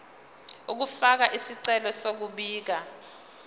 ukufaka isicelo sokubika